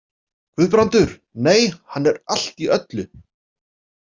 Guðbrandur, nei, hann er allt í öllu.